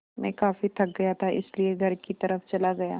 मैं काफ़ी थक गया था इसलिए घर की तरफ़ चला गया